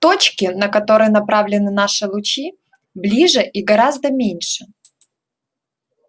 точки на которые направлены наши лучи ближе и гораздо меньше